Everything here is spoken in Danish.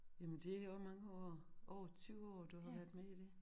Jamen det også mange år over 20 år du har været med i dét